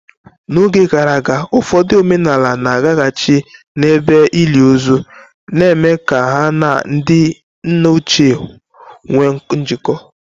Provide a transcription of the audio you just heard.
N'oge gara aga, ụfọdụ omenala na-agaghachi n'ebe ili ozu, na-eme ka ha na ndị nna ochie nwee njikọ.